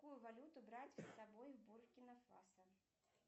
какую валюту брать с собой в буркина фасо